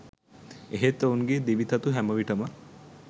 එහෙත් ඔවුන්ගේ දිවි තතු හැම විට ම